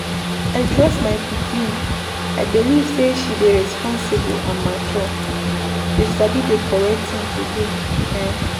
I trust my pikin, I belive say she dey responsible and mature. She sabi the correct thing to do um.